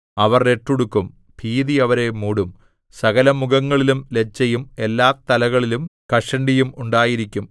അവർ രട്ടുടുക്കും ഭീതി അവരെ മൂടും സകലമുഖങ്ങളിലും ലജ്ജയും എല്ലാതലകളിലും കഷണ്ടിയും ഉണ്ടായിരിക്കും